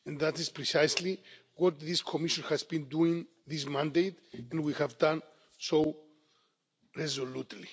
And that is precisely what this Commission has been doing this mandate and we have done so resolutely.